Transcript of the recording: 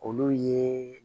Olu ye